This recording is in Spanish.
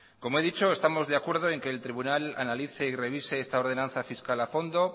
como he dicho estamos de acuerdo en que el tribunal analice y revise esa ordenanza fiscal a fondo